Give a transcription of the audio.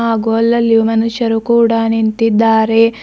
ಹಾಗು ಅಲ್ಲಲ್ಲಿಯು ಮನುಷ್ಯರು ಕೂಡ ನಿಂತಿದ್ದಾರೆ.